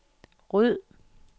ryd